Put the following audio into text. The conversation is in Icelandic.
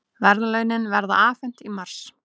Verðlaunin verða afhent í mars